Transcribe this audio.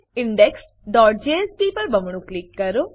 indexજેએસપી પર બમણું ક્લિક કરો